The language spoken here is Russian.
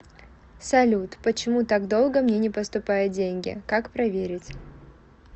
салют почему так долго мне не поступают деньги как проверить